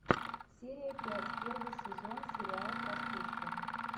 серия пять первый сезон сериал простушка